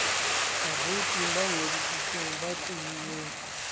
bavouti ba ingodisitseng ba tlohileng